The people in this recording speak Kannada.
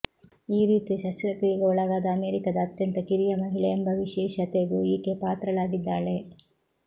ಈ ರೀತಿಯ ಶಸ್ತ್ರಕ್ರಿಯೆಗೆ ಒಳಗಾದ ಅಮೆರಿಕದ ಅತ್ಯಂತ ಕಿರಿಯ ಮಹಿಳೆ ಎಂಬ ವಿಶೇಷತೆಗೂ ಈಕೆ ಪಾತ್ರಳಾಗಿದ್ದಾಳೆ